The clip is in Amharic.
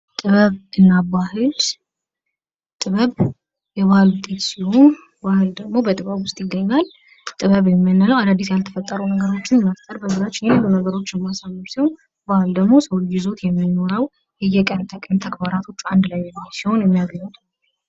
ጥበብና ባህል ጥበብ የባህል ውጤት ሲሆን ባህል ደግሞ በጥበብ ውስጥ ይገኛል ።ጥበብ የምንለው አዳዲስ ያልተፈጠሩ ነገሮችን መፍጠር ያሉ ነገሮችን ማሳመር ሲሆን ባህል ደግሞ የሚኖረው የቀን ከቀን ተግባራቶች አንድ ላይ ሲሆን የሚያገኙት ነው።